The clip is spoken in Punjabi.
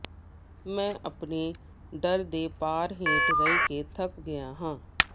ਮੈਂ ਆਪਣੇ ਡਰ ਦੇ ਭਾਰ ਹੇਠ ਰਹਿ ਕੇ ਥੱਕ ਗਿਆ ਹਾਂ